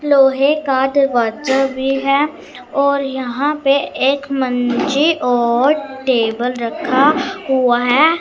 लोहे का दरवाजा भी है और यहां पर एक मंजी और टेबल रखा हुआ है।